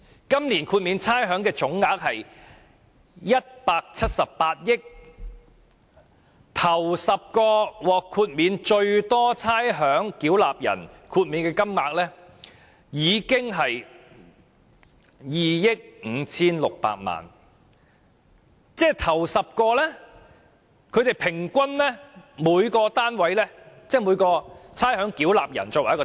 今年豁免差餉總額是178億元，首10名獲得最多差餉豁免的差餉繳納人，所獲豁免的金額達2億 5,600 萬元，即每人平均獲豁免 2,560 萬元。